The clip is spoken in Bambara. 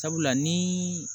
Sabula ni